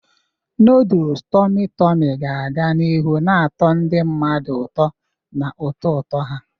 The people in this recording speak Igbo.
Noodles tummy tummy ga-aga n'ihu na-atọ ndị mmadụ ụtọ na ụtọ ụtọ ha.